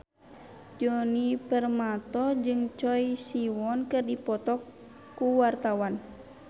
Djoni Permato jeung Choi Siwon keur dipoto ku wartawan